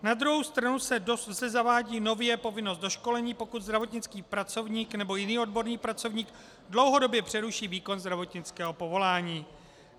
Na druhou stranu se zavádí nově povinnost doškolení, pokud zdravotnický pracovník nebo jiný odborný pracovník dlouhodobě přeruší výkon zdravotnického povolání.